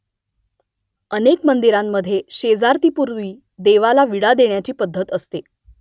अनेक मंदिरांमधे शेजारतीपूर्वी देवाला विडा देण्याची पद्धत असते